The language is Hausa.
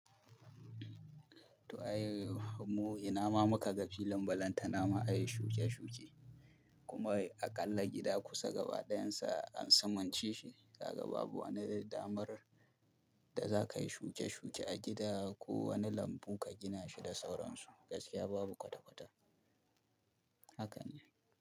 To ai, mu ina ma muka ga filin balanta nama a yi shuke-shuke, kuma aƙalla gida kusa gaba ɗayan sa an sumance shi, gaba babu wani damar da za ka yi shuke-shuke a gida ko wani lambu ka gina shi da sauransu, gaskiya babu kwata-kwata. Haka ne.